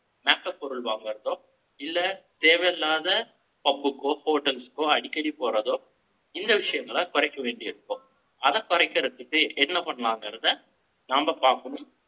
makeup பொருள் வாங்குறதோ, இல்லை, தேவையில்லாத, pub க்கோ, hotels க்கோ, அடிக்கடி போறதோ, இந்த விஷயங்களை, குறைக்க வேண்டி இருக்கும். அதை குறைக்கிறதுக்கு, என்ன பண்ணலாம்ங்கிறதை, நாம பாக்கணும்.